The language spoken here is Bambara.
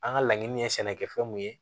An ka laɲini ye sɛnɛkɛfɛn mun ye